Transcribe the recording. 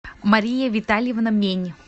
мария витальевна мень